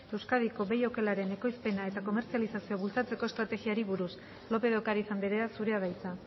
euskadiko behi okelaren ekoizpena eta komertzializazioa bultzatzeko estrategiari buruz lópez de ocariz andrea zurea da hitza